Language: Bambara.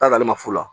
T'a sɔrɔ ale ma fu la